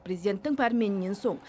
президенттің пәрменінен соң